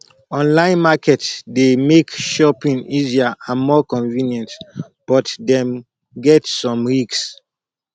online market dey make shopping easier and more convenient but dem get some risk